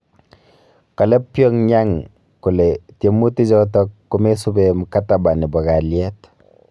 Kale Pyongyang kole tiemutik choto komesubi mkataba nebo kalyet